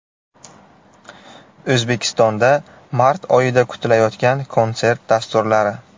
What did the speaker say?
O‘zbekistonda mart oyida kutilayotgan konsert dasturlari.